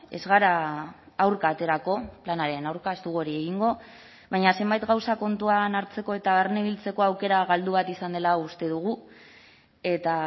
ez gara aurka aterako planaren aurka ez dugu hori egingo baina zenbait gauza kontuan hartzeko eta barnebiltzeko aukera galdu bat izan dela uste dugu eta